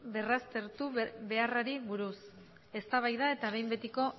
berraztertu beharrari buruz eztabaida eta behin betiko